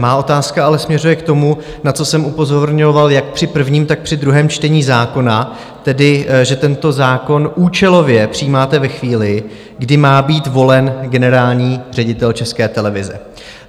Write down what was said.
Má otázka ale směřuje k tomu, na co jsem upozorňoval jak při prvním, tak při druhém čtení zákona, tedy že tento zákon účelově přijímáte ve chvíli, kdy má být volen generální ředitel České televize.